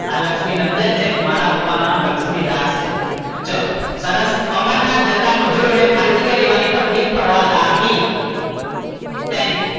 આ લક્ષ્મીનંદન છે મારા પપ્પા નું નામ લક્ષ્મીદાસ છે ચલો, સરસ અમરનાથ જતા મજૂરો ને ખાલી જગ્યા લેવાની તકલીફ પડવા લાગી. શેની?